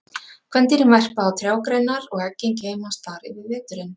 kvendýrin verpa á trjágreinar og eggin geymast þar yfir veturinn